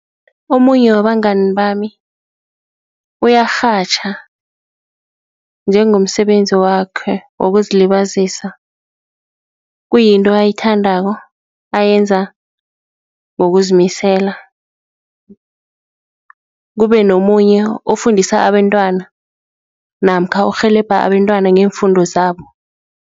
Omunye wabangani bami uyarhatjha njengomsebenzi wakhe wokuzilibazisa, kuyinto ayithandako ayenza ngokuzimisela, kube nomunye ofundisa abentwana namkha urhelebha abentwana ngeemfundo zabo.